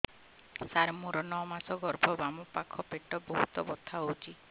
ସାର ମୋର ନଅ ମାସ ଗର୍ଭ ବାମପାଖ ପେଟ ବହୁତ ବଥା ହଉଚି